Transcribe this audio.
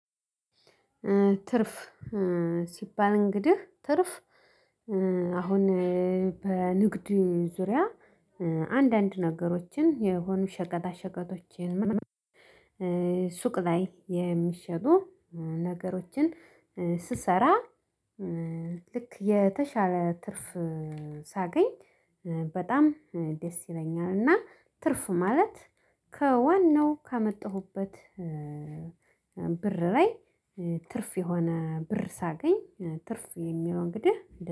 ትርፍ ሲባል እንግዲህ ትርፍ አሁን በንግድ ዙሪያ አንዳንድ ነገሮችን የሆኑ ሸቀጣ ሸቀጦችን ሱቅ ላይ የሚሸጡ ነገሮችን ስሰራ ልክ የተሻለ ትርፍ ሳገኝ በጣም ደስ ይለኛል። እና ትርፍ ማለት ከዋናው ካመጣሁበት ብር ላይ ትርፍ የሆነ ብር ሳገኝ። ትርፍ የሚለው እንግዲህ